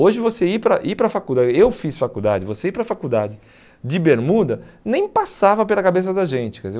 Hoje você ir para ir para a faculdade, eu fiz faculdade, você ir para a faculdade de bermuda, nem passava pela cabeça da gente. Quer dizer,